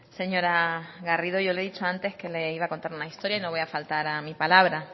señora garrido yo le he dicho antes que le iba a contar una historia y no voy a faltar a mi palabra